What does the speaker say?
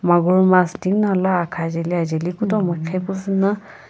magur mas tinguna ala akha jeli ajeli kutomo qhipuzu na.